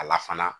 A la fana